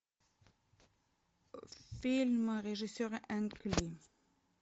фильм режиссера